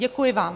Děkuji vám.